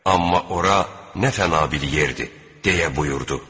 Amma ora nə fəna bir yerdir deyə buyurdu.